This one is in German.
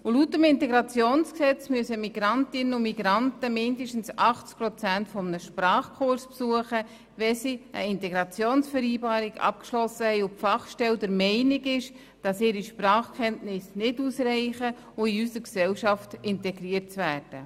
Laut IntG müssen sie mindestens 80 Prozent eines Sprachkurses besuchen, wenn sie eine Integrationsvereinbarung abgeschlossen haben und die Fachstelle der Meinung ist, die Sprachkenntnisse reichten für eine Integration nicht aus.